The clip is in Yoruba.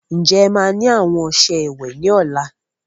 Ǹjẹ́ ẹ má ni àwọn ọsẹ ìwẹ̀ ni ọ̀la?